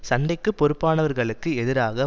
சண்டைக்குப் பொறுப்பனாவர்களுக்கு எதிராக